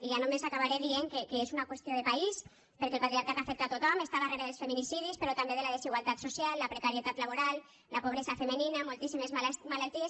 i només acabaré dient que és una qüestió país perquè el patriarcat afecta tothom està darrere dels feminicidis però també de la desigualtat social la precarietat laboral la pobresa femenina moltíssimes malalties